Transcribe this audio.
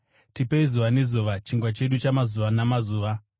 Tipei zuva nezuva chingwa chedu chamazuva namazuva.